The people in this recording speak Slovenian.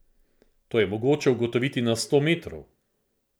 To je mogoče ugotoviti na sto metrov.